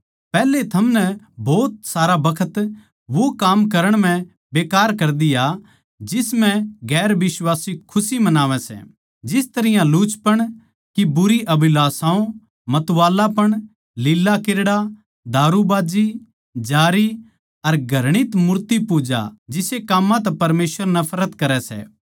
पैहले थमनै भोत सारा बखत वो काम करण म्ह बेकार कर दिया जिस म्ह गैर बिश्वासी खुशी मनावै सै जिस तरियां लुचपण की बुरी अभिलाषाओ मतवाळापण लीलाक्रीड़ा दारूबाज्जी जारी अर घृणित मूर्तिपूजा जिसे काम्मां तै परमेसवर नफरत करै सै